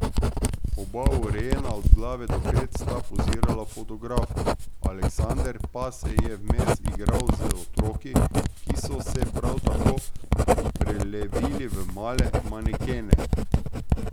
Oba urejena od glave do pet sta pozirala fotografu, Aleksander pa se je vmes igral z otroki, ki so se prav tako prelevili v male manekene.